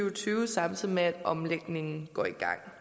og tyve samtidig med at omlægningen går i gang